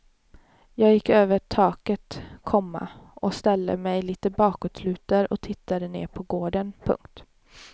Jag gick över taket, komma och ställde mig lite bakåtlutad och tittade ned på gården. punkt